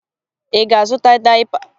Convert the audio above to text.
Ị ga-azụta dayịpa?